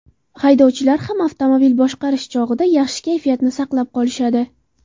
Haydovchilar ham avtomobil boshqarish chog‘ida yaxshi kayfiyatni saqlab qolishadi.